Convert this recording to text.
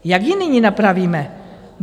Jak ji nyní napravíme?